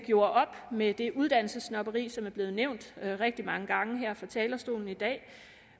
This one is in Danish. gjorde op med det uddannelsessnobberi som er blevet nævnt rigtig mange gange her fra talerstolen i dag